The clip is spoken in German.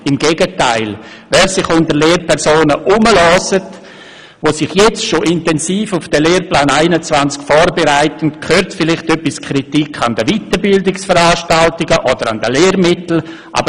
Im Gegenteil: Wer sich unter Lehrpersonen umhört, die sich jetzt bereits intensiv auf den Lehrplan 21 vorbereiten, hört vielleicht etwas Kritik an den Weiterbildungsveranstaltungen oder an den Lehrmitteln.